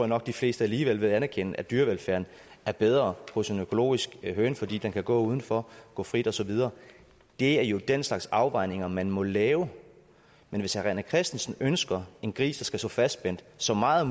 nok at de fleste alligevel vil anerkende at dyrevelfærden er bedre hos en økologisk høne fordi den kan gå udenfor gå frit og så videre det er jo den slags afvejninger man må lave men hvis herre rené christensen ønsker en gris der skal stå fastspændt så meget